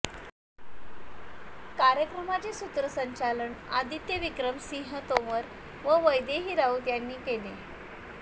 कार्यक्रमाचे सूत्रसंचालन आदित्य विक्रम सिंघ तोमर व वैदेही राऊत यांनी केले